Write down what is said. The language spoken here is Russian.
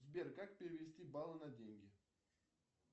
сбер как перевести баллы на деньги